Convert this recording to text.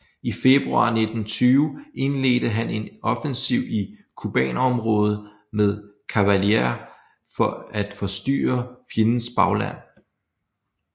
I februar 1920 indledte han en offensiv i Kubanområdet med kavaleri for at forstyrre fjendens bagland